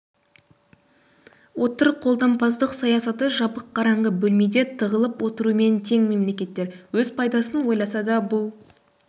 отыр қолдампаздық саясаты жабық қараңғы бөлмеде тығылып отырумен тең мемлекеттер өз пайдасын ойласа да бұл